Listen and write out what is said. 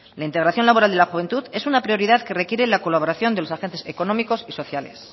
la integración laboral de la juventud es una prioridad que requiere la colaboración de los agentes económicos y sociales